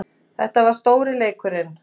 Þetta var stóri leikurinn